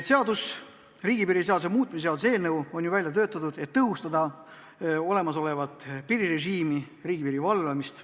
Riigipiiri seaduse muutmise seaduse eelnõu on välja töötatud, et tõhustada olemasolevat piirirežiimi ja riigipiiri valvamist.